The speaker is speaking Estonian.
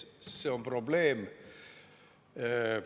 See on probleem.